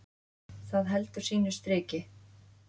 Það heldur sínu striki.